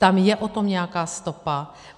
Tam je o tom nějaká stopa.